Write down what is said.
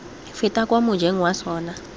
feta kwa mojeng wa sona